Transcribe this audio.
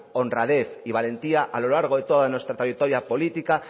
honradez y valentía a lo largo de toda nuestra trayectoria política